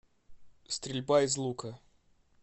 стрельба из лука